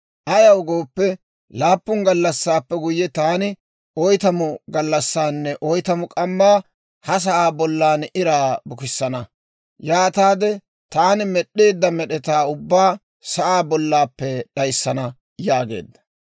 Ayaw gooppe, laappun gallassaappe guyye, taani oytamu gallassaanne oytamu k'ammaa ha sa'aa bollan iraa bukissana; yaataade taani med'd'eedda med'etaa ubbaa sa'aa bollaappe d'ayssana» yaageedda.